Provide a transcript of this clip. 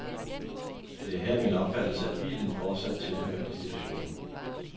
Det er her min opfattelse, at bilen fortsat tilhører institutionen.